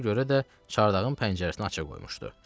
Ona görə də çardağın pəncərəsini aça qoymuşdu.